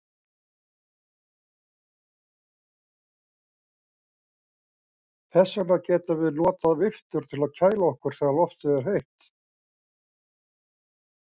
Þess vegna getum við notað viftur til að kæla okkur þegar loftið er heitt.